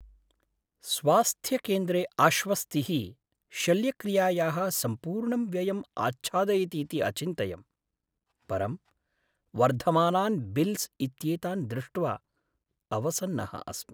स्वास्थ्यकेन्द्रे आश्वस्तिः शल्यक्रियायाः सम्पूर्णं व्ययम् आच्छादयतीति अचिन्तयम्। परं वर्धमानान् बिल्स् इत्येतान् दृष्ट्वा अवसन्नः अस्मि।